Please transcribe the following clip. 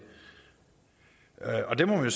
og det må man